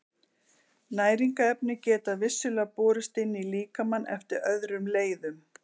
Næringarefni geta vissulega borist inn í líkamann eftir öðrum leiðum.